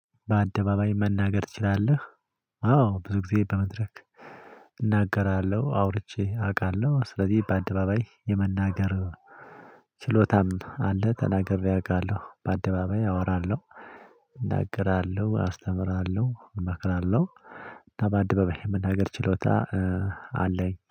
በአደባባይ መናገር ትችላለህ? አዎ ብዙ ጊዜ በመድረክ እናገራለሁ አውርቼ አቃለሁ ስለዚህ በአደባባይ የመናገር ችሎታም አለ። ተናግሬ አቃለሁ በአደባባይ አወራለሁ እናገራለሁ አስተምራለሁ እመክራለሁ። እና ባደባባይ መናገር ችሎታ አለኝ